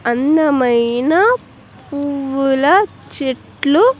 అందమైన పువ్వుల చెట్లు.